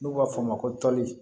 N'u b'a f'a ma ko toli